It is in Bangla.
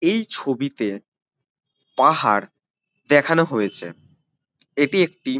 এই ছবিতে পাহাড় দেখানো হয়েছে এটি একটি --